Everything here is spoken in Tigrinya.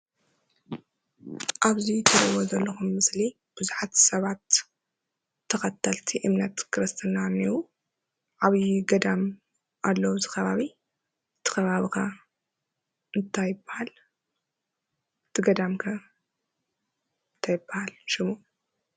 ኣብዚ ትሪእይዎ ዘለኩም ምስሊ ብዙሓት ሰባት ተከተልቲ እምነት ክርስትና እናኤዉ። ዓብይ ገዳም ኣሎ ኣብዚ ከባቢ። እቲ ከባቢ ከ እንታይ ይበሃል? እቲ ገዳም ከ እንታይ ይበሃል ሽሙ?